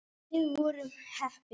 En við vorum heppin.